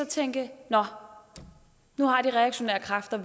tænke nå nu har de reaktionære kræfter